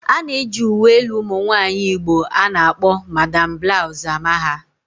A na-eji uwe elu ụmụ nwaanyị Igbo a na-akpọ 'Madam Blouse'' ama ha